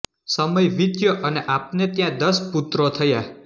સમય વીત્યો અને આપને ત્યાં દસ પુત્રો થયા